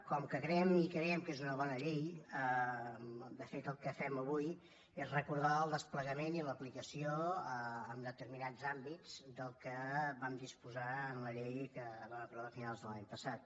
com que creiem que és una bona llei de fet el que fem avui és recordar el desplegament i l’aplicació en determinats àmbits del que vam disposar en la llei que es va aprovar a finals de l’any passat